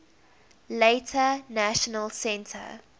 later national centre